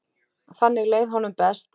Þannig leið honum best.